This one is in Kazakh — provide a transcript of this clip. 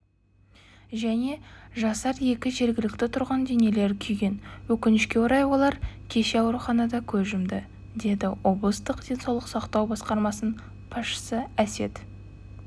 және жасар екі жергілікті тұрғынның денелері күйген өкінішке орай олар кеше ауруханада көз жұмды деді облыстық денсаулық сақтау басқармасының басшысы әсет